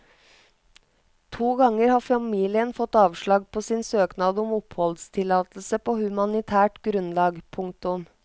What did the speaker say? To ganger har familien fått avslag på sin søknad om oppholdstillatelse på humanitært grunnlag. punktum